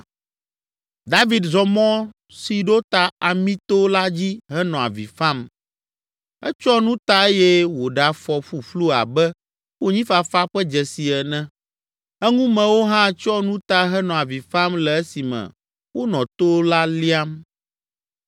David zɔ mɔ si ɖo ta Amito la dzi henɔ avi fam. Etsyɔ nu ta eye wòɖe afɔ ƒuƒlu abe konyifafa ƒe dzesi ene. Eŋumewo hã tsyɔ nu ta henɔ avi fam le esime wonɔ to la liam.